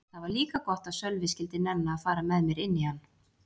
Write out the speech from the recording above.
Það var líka gott að Sölvi skyldi nenna að fara með mér inn í hann.